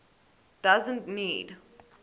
doesn t need